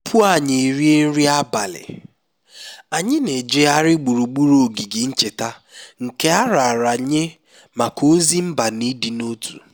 tupu anyị erie nri abalị anyị na-ejegharị gburugburu ogige ncheta nke a raara nye maka ozi mba na ịdị n'otu